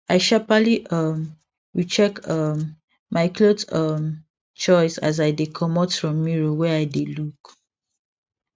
i sharperly um recheck um my cloth um choice as i dey comot from mirror wey i dey look